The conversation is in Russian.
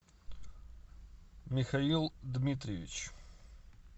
михаил дмитриевич